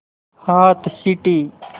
हाथ सीटी